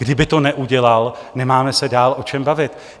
Kdyby to neudělal, nemáme se dál o čem bavit.